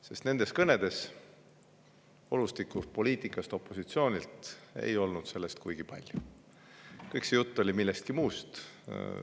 Sest opositsiooni kõnedes ei olnud olustikust ja poliitikast kuigi palju juttu, räägiti millestki muust.